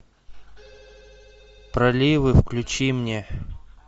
проливы включи мне